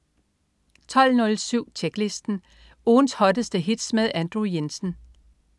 12.07 Tjeklisten. Ugens hotteste hits med Andrew Jensen